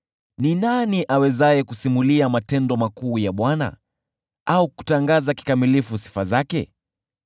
Ni nani awezaye kusimulia matendo makuu ya Bwana au kutangaza kikamilifu sifa zake?